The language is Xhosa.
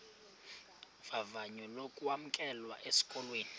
vavanyo lokwamkelwa esikolweni